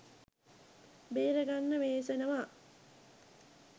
බේරගන්න වෙහෙසනවා